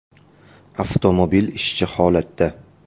Avtomobil ishchi holatda.